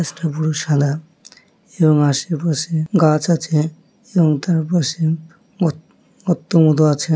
গাছটা পুরো সাদা এবং আশেপাশে গাছ আছে এবং তার পাশে উত্ উত্তমধু আছে।